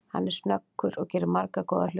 Hann er snöggur og gerði marga góða hluti.